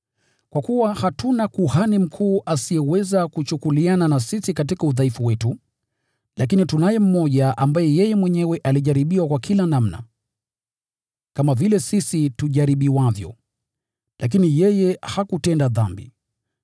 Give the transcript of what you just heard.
Kwa kuwa hatuna Kuhani Mkuu asiyeweza kuchukuliana na sisi katika udhaifu wetu, lakini tunaye mmoja ambaye alijaribiwa kwa kila namna, kama vile sisi tujaribiwavyo: lakini yeye hakutenda dhambi.